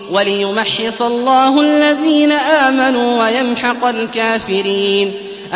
وَلِيُمَحِّصَ اللَّهُ الَّذِينَ آمَنُوا وَيَمْحَقَ الْكَافِرِينَ